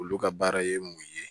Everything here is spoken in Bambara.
Olu ka baara ye mun ye